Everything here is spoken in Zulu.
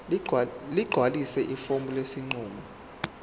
ligcwalise ifomu lesinqumo